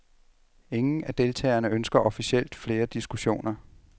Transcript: Ingen af deltagerne ønsker officielt flere diskussioner.